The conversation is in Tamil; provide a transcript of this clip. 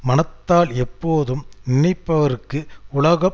மனத்தால் எப்போதும் நினைப்பவருக்கு உலகம்